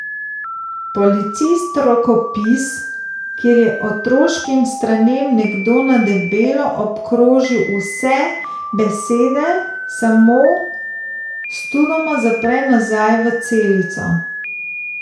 Policist rokopis, kjer je otroškim stranem nekdo na debelo obkrožil vse besede samo, studoma zapre nazaj v celico.